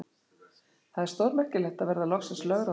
Það er stórmerkilegt að verða loksins lögráða.